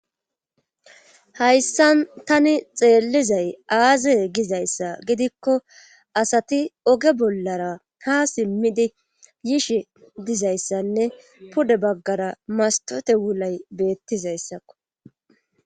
hayssan tani xeellizay aaze gizayssa gidikko asati oge bollara ha simmidi yishi dizayssanne pude baggara mastote wulay beettizayssakko